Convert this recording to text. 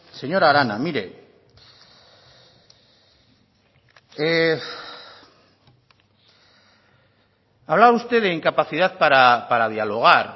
hablaba usted de incapacidad para dialogar